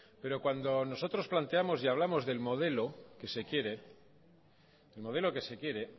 pero cuando nosotros planteamos y hablamos del modelo que se quiere el modelo que se quiere